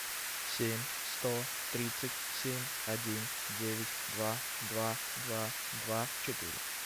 семь сто тридцать семь один девять два два два два четыре